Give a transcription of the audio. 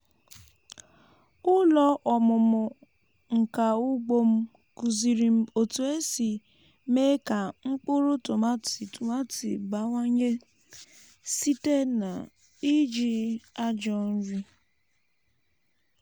ụlọ ọmụmụ nka ugbo m kụziri m otu esi mee ka mkpụrụ tomati tomati bawanye site n’iji ajọ nri.